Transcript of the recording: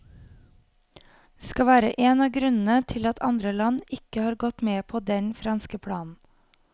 Det skal være en av grunnene til at andre land ikke har gått med på den franske planen.